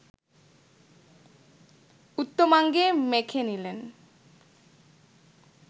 উত্তমাঙ্গে মেখে নিলেন